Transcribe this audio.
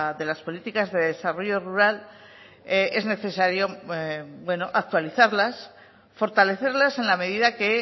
de las políticas de desarrollo rural es necesario actualizarlas fortalecerlas en la medida que